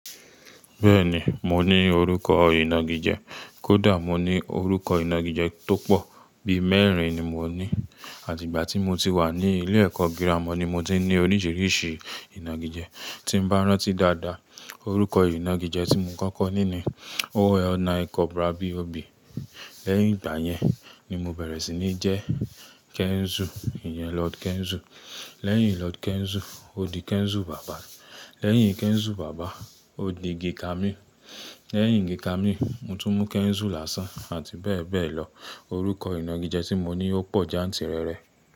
Bẹ́ẹ̀ni, mo ní orúkọ ìnagijẹ, kódà mo ní orúkọ ìnagijẹ tó pọ̀, bí mẹ́rin ni mo ní àti ìgbà tí mo ti wà ní ilé ẹ̀kọ́ girama ni mo ti ní oríṣiríṣi ìnagijẹ. Tí mo bá rántí dáadáa, orúkọ ìnagijẹ tí mo kọ́kọ́ ní ni All Night Cobra B.O.B. Lẹ́yìn ìgbà yẹn ni mo bẹ̀rẹ̀ sí ní jẹ́ Kenzu, ìyẹn Lord Kenzu. Lẹ́yìn Lord Kenzu, ó di Kenzu Bàbá. Lẹ́yìn Kenzu Bàbá, ó di G-Camille. Lẹ́yìn G-Camille, Motunmó Kenzu lásán, àti bẹ́ẹ̀ bẹ́ẹ̀ lọ. Orúkọ ìnagijẹ tí mo ní ó pọ̀ jantìrẹrẹ.